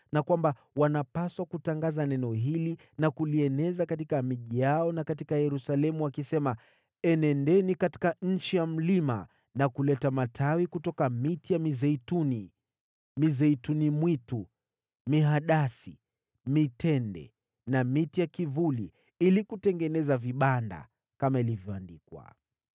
na kwamba walipaswa kutangaza neno hili na kulieneza katika miji yao na katika Yerusalemu wakisema: “Enendeni katika nchi ya mlima na kuleta matawi kutoka miti ya mizeituni, mizeituni mwitu, mihadasi, mitende na miti ya kivuli, ili kutengeneza vibanda,” kama ilivyoandikwa.